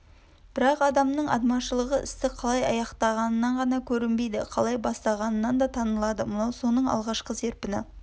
бірақ адамның адмашылығы істі қалай аяқтағанынан ғана көрінбейді қалай бастағанынан да танылады мынау соның алғашқы серпіні